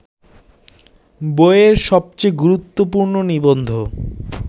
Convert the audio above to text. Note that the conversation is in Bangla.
বইয়ের সবচেয়ে গুরুত্বপূর্ণ নিবন্ধ